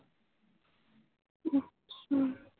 ਹਮ